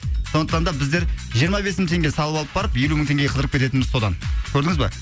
сондықтан да біздер жиырма бес мың теңге салып алып барып елу мың теңгеге қыдырып кететініміз содан көрдіңіз ба